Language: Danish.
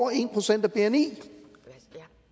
en procent af bni